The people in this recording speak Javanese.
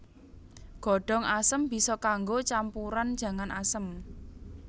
Godhong asem bisa kanggo campuran jangan asem